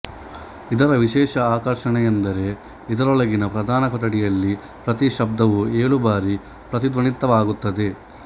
ಇದರ ವಿಶೇಷ ಆಕರ್ಷಣೆಯೆಂದರೆ ಇದರೊಳಗಿನ ಪ್ರಧಾನ ಕೊಠಡಿಯಲ್ಲಿ ಪ್ರತಿ ಶಬ್ದವೂ ಏಳು ಬಾರಿ ಪ್ರತಿಧ್ವನಿತವಾಗುತ್ತದೆ